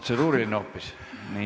Protseduuriline hoopis!